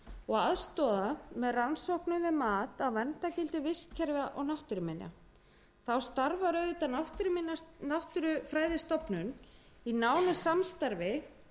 og aðstoða með rannsóknum við mat á verndargildi vistkerfa og náttúruminja þá starfar náttúrufræðistofnun í nánu samstarfi